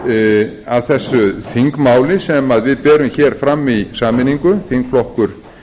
aftur að þessu þingmáli sem við berum hér fram í sameiningu þingflokkur